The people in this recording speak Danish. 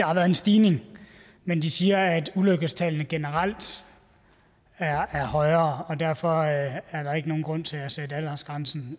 har været en stigning men de siger at ulykkestallene generelt er højere og derfor er der ikke nogen grund til at sætte aldersgrænsen